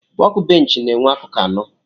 Wọk bench na enwee akụkụ anọ.